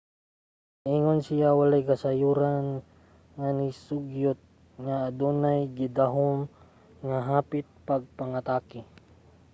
niingon siya walay kasayuran nga nisugyot nga adunay gidahom nga hapit nga pagpangatake